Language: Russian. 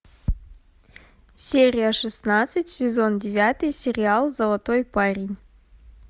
серия шестнадцать сезон девятый сериал золотой парень